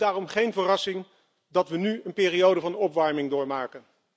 Het is daarom geen verrassing dat we nu een periode van opwarming doormaken.